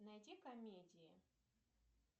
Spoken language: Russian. найди комедии